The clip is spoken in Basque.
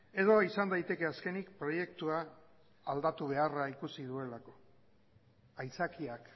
edo izan daiteke azkenik proiektua aldatu beharra ikusi duelako aitzakiak